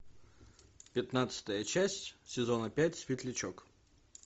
пятнадцатая часть сезона пять светлячок